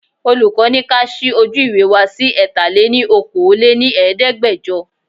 Olùkọ́ ni ka ṣí ojú ìwé wá sí Ẹ̀ta lè ní Okòó lé ní Ẹ̀ẹ́dẹ́gbẹjọ.